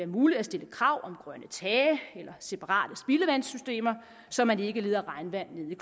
muligt at stille krav om grønne tage eller separate spildevandssystemer så man ikke leder regnvandet ned i